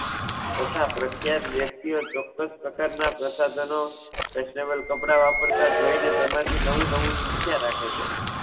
તથા પ્રખ્યાત વ્યક્તિઓ ચોક્કસ પ્રકારના પ્રસાધનો, Fashionable કપડાં વાપરતા જોઈ ને તેમાં થી નવું નવું શીખ્યા રાખે છે.